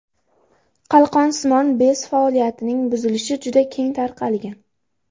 Qalqonsimon bez faoliyatining buzilishi juda keng tarqalgan.